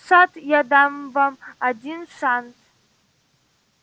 сатт я дам вам один шанс